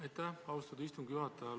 Aitäh, austatud istungi juhataja!